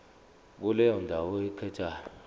kuleyo ndawo oyikhethayo